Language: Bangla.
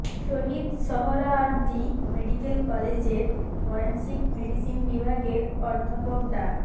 শহীদ সোহরাওয়ার্দী মেডিক্যাল কলেজের ফরেনসিক মেডিসিন বিভাগের অধ্যাপক ডা